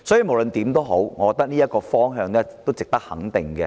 無論如何，我覺得這個方向是值得肯定的。